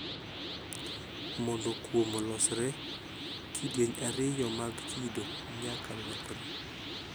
Mondo kuom olosre, kidieny ariyo mag kido nyakalokre.